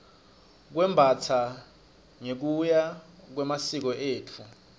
kwembastsa ngekuya ngemasiko etfu